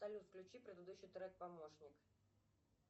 салют включи предыдущий трек помощник